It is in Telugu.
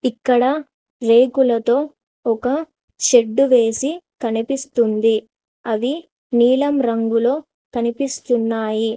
ఇక్కడ రేకులతో ఒక షెడ్డు వేసి కనిపిస్తుంది అది నీలం రంగులో కనిపిస్తున్నాయి.